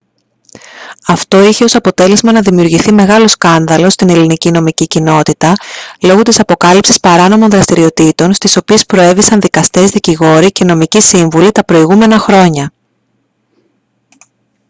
αυτό είχε ως αποτέλεσμα να δημιουργηθεί μεγάλο σκάνδαλο στην ελληνική νομική κοινότητα λόγω της αποκάλυψης παράνομων δραστηριοτήτων στις οποίες προέβησαν δικαστές δικηγόροι και νομικοί σύμβουλοι τα προηγούμενα χρόνια